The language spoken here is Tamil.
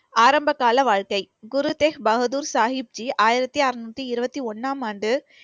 ஆரம்பகால வாழ்க்கை, குரு தெக் பகதூர் சாகிப்ஜி ஆயிரத்தி அறுநூத்தி இருபத்தி ஒண்ணாம் ஆண்டு